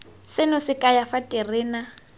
seno se kaya fa terena